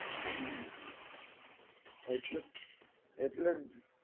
હા એટલે એટલેજ